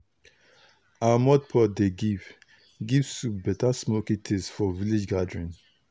our mud pot dey give give soup better smoky taste for village gathering.